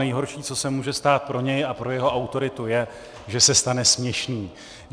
Nejhorší, co se může stát pro něj a pro jeho autoritu, je, že se stane směšným.